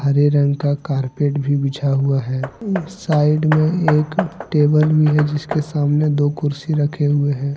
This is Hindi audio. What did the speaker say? हरे कलर का कारपेट भी बिछा हुआ है साइड में एक टेबल भी है जिसके सामने दो कुर्सी रखे हुए हैं।